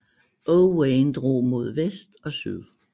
Owain drog mod vest og syd